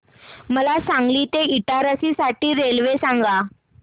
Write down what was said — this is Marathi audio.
मला सांगली ते इटारसी साठी रेल्वे सांगा